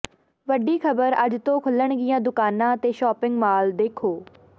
ਵੱਡੀ ਖਬਰ ਅੱਜ ਤੋਂ ਖੁੱਲ੍ਹਣਗੀਆਂ ਦੁਕਾਨਾਂ ਤੇ ਸ਼ਾਪਿੰਗ ਮਾਲ ਦੇਖੋ